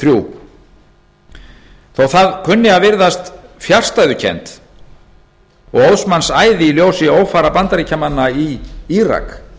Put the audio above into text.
þrjú þó það kunni að virðast fjarstæðukennt og óðs manns æði í ljósi ófara bandaríkjamanna í írak